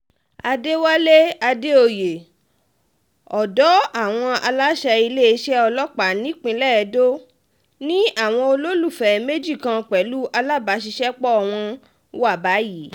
àdẹ̀wálé àdèoyè ọ̀dọ̀ àwọn aláṣẹ iléeṣẹ́ ọlọ́pàá ìpínlẹ̀ edo ni àwọn olólùfẹ́ méjì kan pẹ̀lú alábàṣiṣẹ́pọ̀ wọn wà báyìí